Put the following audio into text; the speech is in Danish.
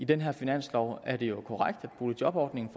den her finanslov er det jo korrekt at boligjobordningen